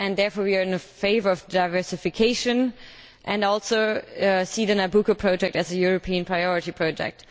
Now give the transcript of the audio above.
Therefore, we are in favour of diversification and also see the Nabucco project as a European priority project.